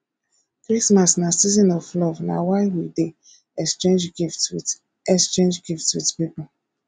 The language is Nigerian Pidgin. christmas na season of love na why we dey exchange gift wit exchange gift wit pipo